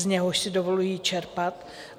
, z něhož si dovoluji čerpat.